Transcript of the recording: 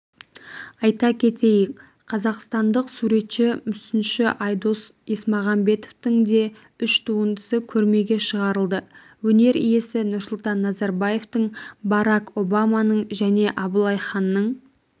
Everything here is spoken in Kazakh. айта кетейік қазақстандық суретші мүсінші айдос есмағамбетовтің де үш туындысы көрмеге шығарылды өнер иесі нұрсұлтан назарбаевтың барак обаманың және абылай ханның